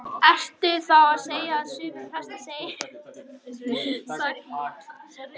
Björn: Ertu þá að segja að sumir prestar segir ekki allan sannleikann í þessu máli?